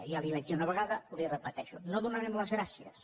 ja li ho vaig dir una vegada i li ho repeteixo no donarem les gràcies